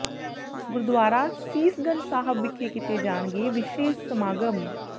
ਗੁਰਦੂਆਰਾ ਸੀਸ ਗੰਜ ਸਾਹਿਬ ਵਿਖੇ ਕੀਤੇ ਜਾਣਗੇ ਵਿਸ਼ੇਸ਼ ਸਮਾਗਮ